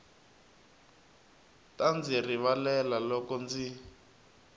ta ndzi rivalela loko ndzi